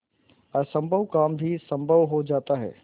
असम्भव काम भी संभव हो जाता है